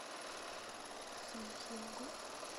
сантьяго